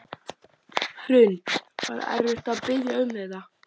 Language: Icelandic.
Hrund: Var erfitt að biðja um þetta?